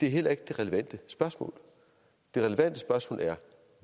er heller ikke det relevante spørgsmål det relevante spørgsmål er